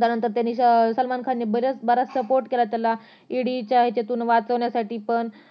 त्यानंतर सलमान खान नि बराच support केला त्याला ED च्या याच्यातून वाचवण्यासाठी पण